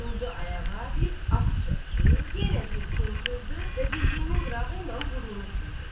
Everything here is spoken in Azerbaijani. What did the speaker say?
Durdu ayağa, bir ah çəkdi, yenə bir fınxırdı və dizliyinin qırağı ilə burnunu sildi.